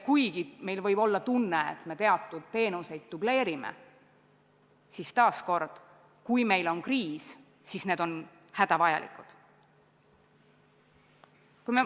Kuigi meil võib olla tunne, et me teatud teenuseid dubleerime, siis taas: kui meil on kriis, siis need on hädavajalikud.